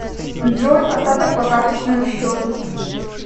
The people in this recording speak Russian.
джой остаток по карточному счету